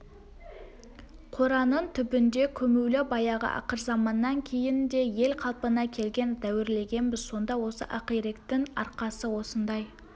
қораның түбінде көмулі баяғы ақырзаманнан кейін де ел қалпына келген дәуірлегенбіз сонда осы ақиректің арқасы осындай